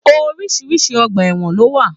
Oríṣiríṣi ọgbà ẹwọn lo wà.